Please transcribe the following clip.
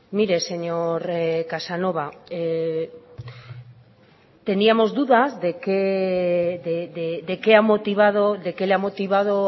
mire señor casanova teníamos dudas de qué le ha motivado